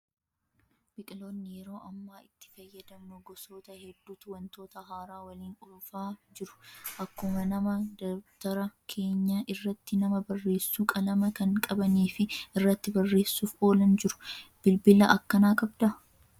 Bilbiloonni yeroo ammaa itti fayyadamnu gosoota hedduutu wantoota haaraa waliin dhufaa jiru. Akkuma nama dabtara keenya irratti nama barreessuu qalama kan qabanii fi irratti barreessuuf oolan jiru. Bilbila akkanaa qabdaa?